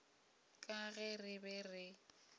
ka ge re be re